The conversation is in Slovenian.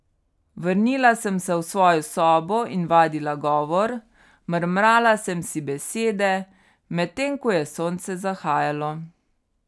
Vrnila sem se v svojo sobo in vadila govor, mrmrala sem si besede, medtem ko je sonce zahajalo.